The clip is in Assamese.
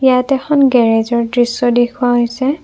ইয়াত এখন গেৰেজৰ দৃশ্য দেখুওৱা হৈছে।